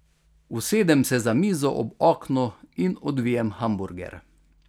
Usedem se za mizo ob oknu in odvijem hamburger.